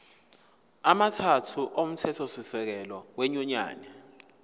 amathathu omthethosisekelo wenyunyane